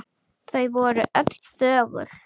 Þau voru öll þögul.